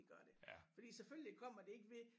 Det gør det. Fordi selvfølgelig kommer det ikke ved